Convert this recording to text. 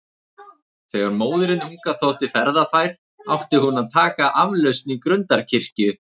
Þegar móðirin unga þótti ferðafær, átti hún að taka aflausn í Grundarkirkju.